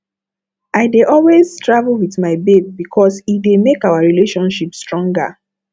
i dey always travel wit my babe because e dey make our relationship stronger